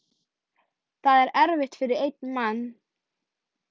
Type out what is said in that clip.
Það er erfitt fyrir einn mann.